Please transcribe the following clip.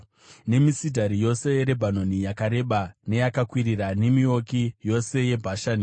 nemisidhari yose yeRebhanoni, yakareba neyakakwirira, nemiouki yose yeBhashani,